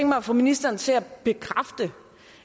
mig at få ministeren til at bekræfte